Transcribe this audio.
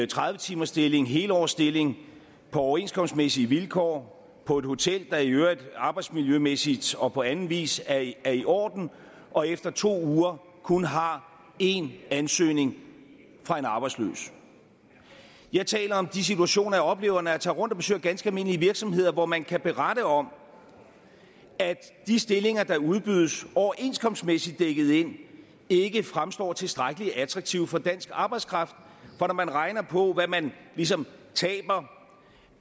tredive timersstilling helårsstilling på overenskomstmæssige vilkår på et hotel der i øvrigt arbejdsmiljømæssigt og på anden vis er i orden og efter to uger kun har én ansøgning fra en arbejdsløs jeg taler om de situationer jeg oplever når jeg tager rundt og besøger ganske almindelige virksomheder hvor man kan berette om at de stillinger der udbydes overenskomstmæssigt dækket ind ikke fremstår tilstrækkelig attraktive for dansk arbejdskraft for når man regner på hvad man ligesom taber